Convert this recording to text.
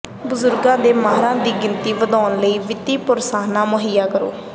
ਬਜ਼ੁਰਗਾਂ ਦੇ ਮਾਹਰਾਂ ਦੀ ਗਿਣਤੀ ਵਧਾਉਣ ਲਈ ਵਿੱਤੀ ਪ੍ਰੋਤਸਾਹਨ ਮੁਹੱਈਆ ਕਰੋ